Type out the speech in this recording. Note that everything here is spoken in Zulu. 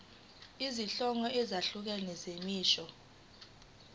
izinhlobo ezahlukene zemisho